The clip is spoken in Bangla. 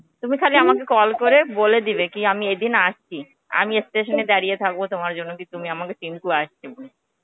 তুমি খালি আমাকে call করে বলে দিবে কি আমি এইদিন আসছি. আমি station এ দাড়িয়ে থাকবো তোমার জন্যে কি তুমি আমাদের টিঙ্কু আসছে বলে.